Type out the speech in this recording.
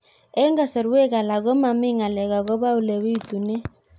Eng' kasarwek alak ko mami ng'alek akopo ole pitunee